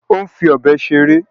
Ó ń fi ọ̀bẹ ṣeré.